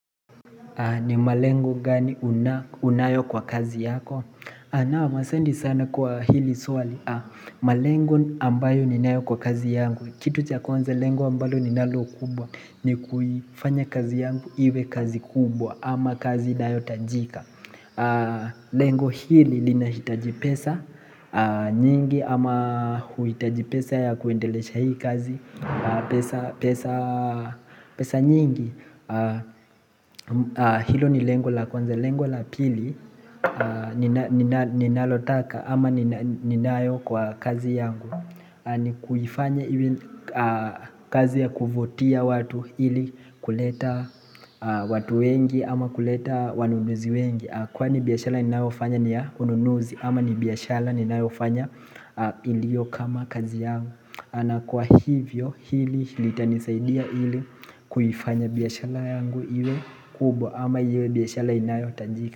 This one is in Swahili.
Ni malengo gani unayo kwa kazi yako? Naam asanti sana kwa hili swali. Malengo ambayo ninayo kwa kazi yangu. Kitu cha kwanza lengo ambalo ninalo kubwa. Ni kufanya kazi yangu iwe kazi kubwa. Ama kazi inayotajika. Lengo hili linahitaji pesa nyingi. Ama huhitaji pesa ya kuendelesha hii kazi. Pesa pesa nyingi. Hilo ni lengo la kwanza. Lengo la pili ninalotaka ama ninayo kwa kazi yangu. Ni kuifanya kazi ya kuvutia watu ili kuleta watu wengi ama kuleta wanunuzi wengi. Kwani biashara ninayofanya ni ya ununuzi ama ni biashara ninayofanya iliyo kama kazi yangu. Kwa hivyo hili litanisaidia hili kuifanya biashara yangu iwe kubwa ama iwe biashara inayotanjika.